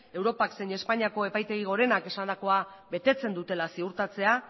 europak zein espainiako epaitegi gorenak esandako betetzen dutela ziurtatzea